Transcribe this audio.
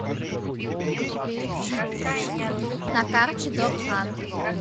на карте дорхан